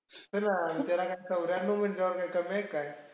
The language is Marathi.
असुदे ना. मग त्याला काय चौऱ्यान्नव म्हणल्यावर काय कमी आहेत का?